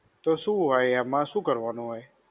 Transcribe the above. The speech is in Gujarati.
તો શું હોય એમાં, એમાં શું કરવાનું હોય?